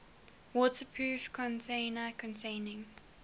waterproof container containing